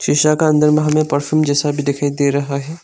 शीशा का अंदर में हमें परफ्यूम जैसा भी दिखाई दे रहा है।